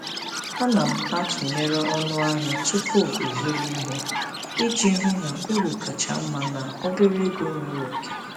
Ana m atụnyere ọnụ ahịa tupu ịzụrụ ihe iji hụ na uru kacha mma na obere ego nwere oke.